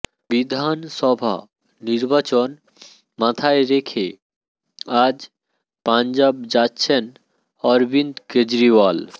বিধানসভা নির্বাচন মাথায় রেখে আজ পাঞ্জাব যাচ্ছেন অরবিন্দ কেজরিওয়াল